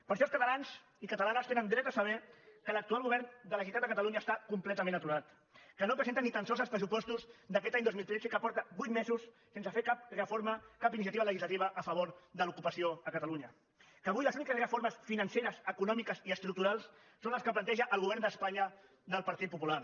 per això els catalans i catalanes tenen dret a saber que l’actual govern de la generalitat de catalunya està completament aturat que no presenta ni tan sols els pressupostos d’aquest any dos mil tretze i que porta vuit mesos sense fer cap reforma cap iniciativa legislativa a favor de l’ocupació a catalunya que avui les úniques reformes financeres econòmiques i estructurals són les que planteja el govern d’espanya del partit popular